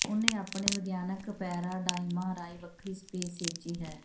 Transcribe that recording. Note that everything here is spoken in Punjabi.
ਉਹਨੇ ਆਪਣੇ ਵਿਗਿਆਨਕ ਪੈਰਾਡਾਈਮਾਂ ਰਾਹੀਂ ਵੱਖਰੀ ਸਪੇਸ ਸਿਰਜੀ ਹੈ